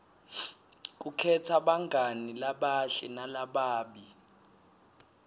kukhetsa bangani labahle nalababi